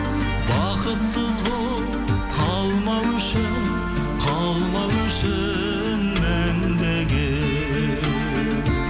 бақытсыз болып қалмау үшін қалмау үшін мәңгіге